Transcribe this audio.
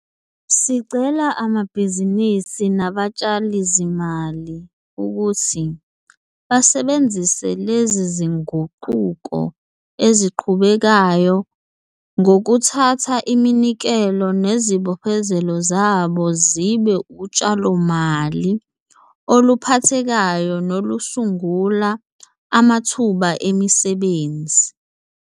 Sicela amabhizinisi nabatshalizimali ukuthi basebenzise lezi zinguquko eziqhubekayo ngokuthatha iminikelo nezibophezelo zabo zibe utshalomali oluphathekayo nolusungula amathuba emisebenzi.